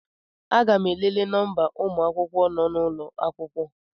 Aga m elele nọmba ụmụ akwụkwọ nọ n'ụlọ akwụkwọ